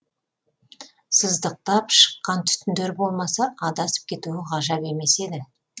сыздықтап шыққан түтіндер болмаса адасып кетуі ғажап емес еді